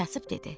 Kasıb dedi: